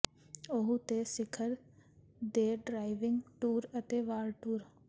Oahu ਤੇ ਸਿਖਰ ਦੇ ਡ੍ਰਾਈਵਿੰਗ ਟੂਰ ਅਤੇ ਵਾਕ ਟੂਰ